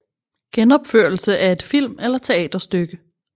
Genopførelse af et film eller teaterstykke